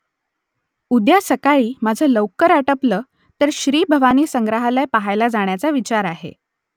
उद्या सकाळी माझं लवकर आटपलं तर श्रीभवानी संग्रहालय पहायला जाण्याचा विचार आहे